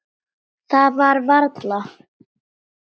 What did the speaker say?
Það var varla.